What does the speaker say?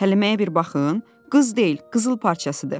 Həliməyə bir baxın, qız deyil, qızıl parçasıdır.